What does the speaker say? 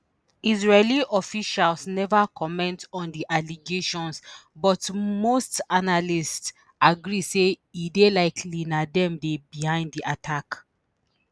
israeli officials neva comment on di allegations but most analysts agree say e dey likely na dem dey behind di attack